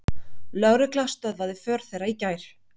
Lögregla stöðvaði för þeirra í gær